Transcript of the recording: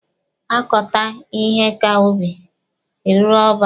Akọta ihe ka ubi, ere ọba.